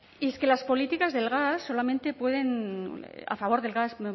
y es que las políticas del gas solamente pueden a favor del gas